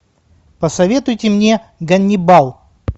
посоветуйте мне ганнибал